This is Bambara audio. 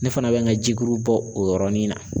Ne fana bɛ n ka jikuru bɔ o yɔrɔnin na.